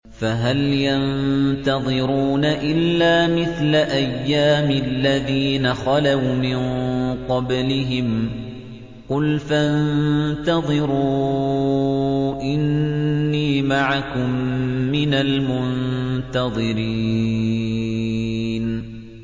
فَهَلْ يَنتَظِرُونَ إِلَّا مِثْلَ أَيَّامِ الَّذِينَ خَلَوْا مِن قَبْلِهِمْ ۚ قُلْ فَانتَظِرُوا إِنِّي مَعَكُم مِّنَ الْمُنتَظِرِينَ